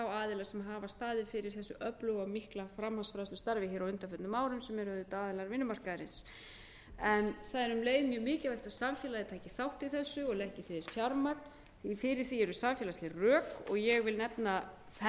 aðila sem hafa staðið fyrir þessu öfluga og mikla framhaldsfræðslustarfi hér á undanförnu árum sem er auðvitað aðilar vinnumarkaðarins það er um leið mjög mikilvæg að samfélagið taki þátt í þessu og leggi til fjármagn því að fyrir því eru samfélagsleg rök og ég vil nefna fern